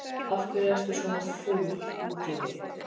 Af hverju ertu svona fúll út í mig?